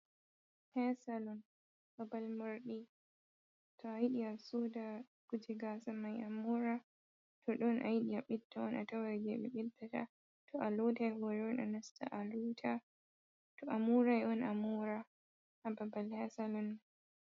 Hair salun babal morɗi, to a yiɗi a soda kuje gasa mayi amora, to ɗon a yiɗi a ɓeda on a tawai je ɓe ɓedata, to a lotai hore on anasta a lota, to a morai on amora ha babal hair salun.